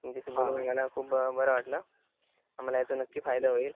तुमच्याशी बोलून मला खूप बर वाटल मला याचा नक्की फायदा होईल